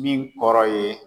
Min kɔrɔ ye